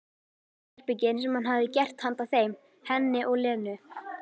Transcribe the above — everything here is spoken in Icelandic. Sérherbergin sem hann hefði gert handa þeim, henni og Lenu.